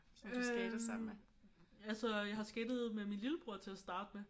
Øh altså jeg har skatet med min lillebror til at starte med